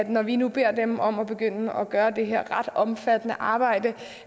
når vi nu beder dem om at begynde at gøre det her ret omfattende arbejde